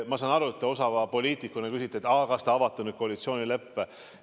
Ma saan aru, et te osava poliitikuna küsite, kas me avame nüüd koalitsioonileppe.